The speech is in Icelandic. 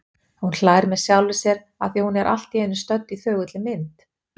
Hún hlær með sjálfri sér afþvíað hún er allt í einu stödd í þögulli mynd.